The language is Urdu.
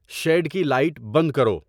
شیڈ کی لائٹ بند کرو